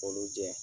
K'olu jɛ